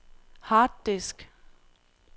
harddisk